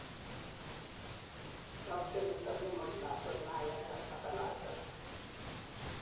yoogsei niton yemoik lakwet maayat nekakifertilizen